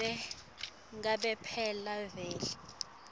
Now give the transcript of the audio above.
ngobe phela vele